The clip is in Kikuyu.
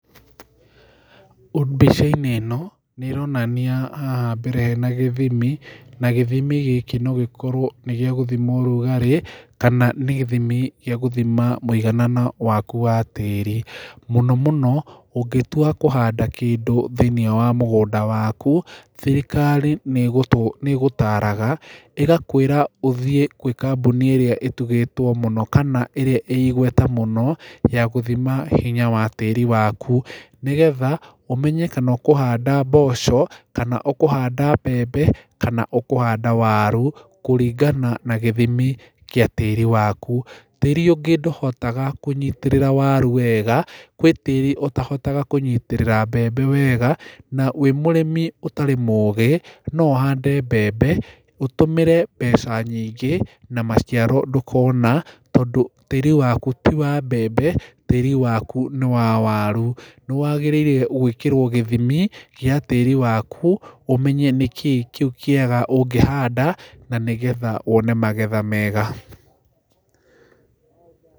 Mbica-inĩ ĩno, nĩĩronania haha mbere hena gĩthimi, na gĩthimi gĩkĩ nogĩkorwo nĩgĩagũthima ũrugarĩ, kana nĩ gĩthimi gĩagũthima mũigana waku wa tĩri. Mũno mũno, ũngĩtua kũhanda kĩndũ thĩinĩ wa mũgũnda waku, thirirkari nĩĩgũtaraga, ĩgakwĩra ũthiĩ gwĩ kambuni ĩrĩa ĩtũgĩrĩtio mũno kana ĩigweta mũno, yagũthima hinya wa tĩri waku, nĩgetha ũmenye kana ũkũhanda mboco, kana ũkũhanda mbembe, kana ũkũhanda waru, kũringana na gĩthimi gĩa tĩri waku. Tĩri ũngĩ ndũhotaga kũnyitĩrĩra waru wega, gwĩ tĩri ũtahotaga kũnyitĩrĩra mbembe wega, na wĩ mũrĩmi ũtarĩ mũgĩ, noũhande mbembe, ũtũmĩre mbeca nyingĩ na maciaro ndũkona, tondũ tĩri waku ti wa mbembe, tĩri waku nĩ wa waru. Nĩwagĩrĩirwo gwĩkĩrwo gĩthimi gĩa tĩri waku, ũmenye nĩkĩĩ kĩu kĩega ũngĩhanda, nanĩgetha wone magetha mega.